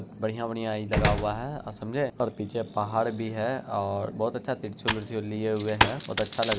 बढ़िया - बढ़िया ई लगा हुआ है अ समझे। और पीछे पहाड़ भी है और बहुत अच्छा त्रिशूल - विरशुल लिए हुए है। बहुत अच्छा लग --